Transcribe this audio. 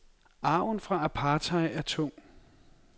Arven fra apartheid er tung.